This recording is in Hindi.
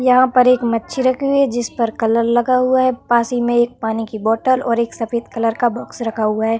यहाँ पर एक मच्छी रखी हुई है। जिस पर कलर लगा हुआ है। पास ही में एक पानी की बॉटल और एक सफ़ेद कलर का बॉक्स रखा हुआ है।